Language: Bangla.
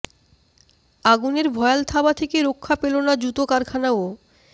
আগুনের ভয়াল থাবা থেকে রক্ষা পেল না জুতো কারখানাও